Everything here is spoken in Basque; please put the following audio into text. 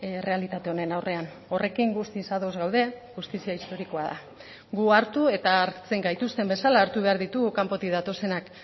errealitate honen aurrean horrekin guztiz ados gaude justizia historikoa da gu hartu eta hartzen gaituzten bezala hartu behar ditugu kanpotik datozenak